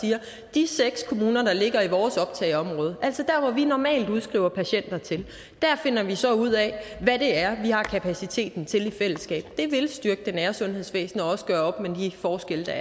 de seks kommuner der ligger i vores optageområde altså der hvor vi normalt udskriver patienter til finder vi så ud af hvad vi har kapaciteten til i fællesskab vil det styrke det nære sundhedsvæsen og også gøre op med de forskelle der